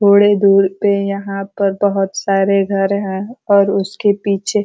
थोड़े दूर पे यहाँ पर बहौत सारे घर हैं और उसके पीछे --